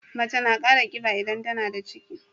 Mace na Kara kiba idan tAnada ciki